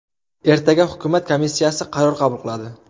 Ertaga hukumat komissiyasi qaror qabul qiladi.